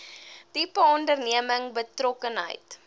tipe onderneming betrokkenheid